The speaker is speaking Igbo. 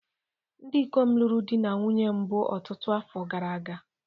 Ndị ikom lụrụ di na nwunye mbụ ọtụtụ afọ gara aga